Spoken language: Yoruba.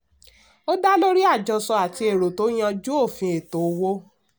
ó dá lórí àjọsọ àti èrò tó yanjú òfin ètò owó.